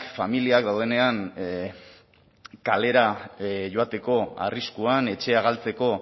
familiak daudenean kalera joateko arriskuan etxea galtzeko